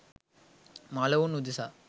මළවුන් උදෙසා